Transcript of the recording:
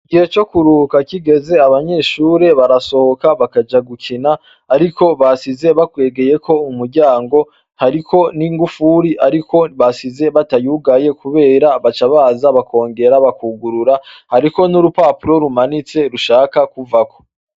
Igihe co kuruhuka kigeze abanyeshure barasohika bakaja gukina Ariko bashize bakwegeyeko umuryango hariko ningufuri bashize batayugaye kubera baca baza akongera bakugurura hariko nurupapuro rumanitse rushaka kuvako.